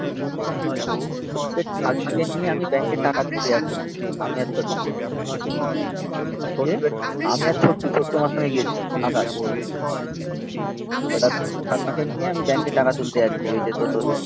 প্রদীপের নিয়ে আমি ব্যাংকে টাকা তুলতে যাচ্ছিলাম. আমি আর ছোট্টু আমি আর ছোট্টু আমার সঙ্গে গিয়েছিল আকাশ এবার ঠাম্মা নিয়ে আমি ব্যাংকে টাকা তুলতে যাচ্ছি. ওই যে তোর.